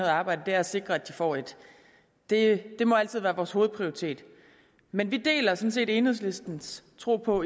arbejde er at sikre at de får et det det må altid være vores hovedprioritet men vi deler set enhedslistens tro på